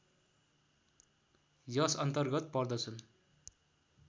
यसअन्तर्गत पर्दछन्